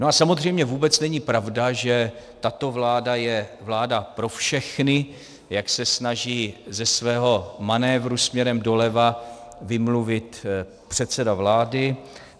No a samozřejmě vůbec není pravda, že tato vláda je vláda pro všechny, jak se snaží ze svého manévru směrem doleva vymluvit předseda vlády.